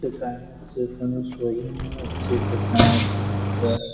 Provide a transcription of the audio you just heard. সেখানে যেকোনো শোরুম আছে সেখানে --]